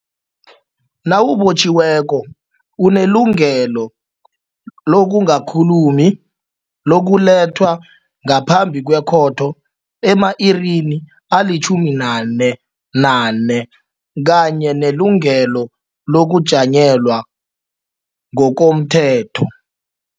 Nawubotjhiweko unelungelo okungakhulumi, lokulethwa ngaphambi kwekhotho ema-irini ama-48 kanye nelungelo lokujanyelwa ngokomthetho.